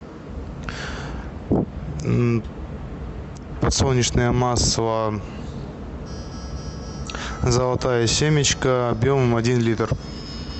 подсолнечное масло золотая семечка объемом один литр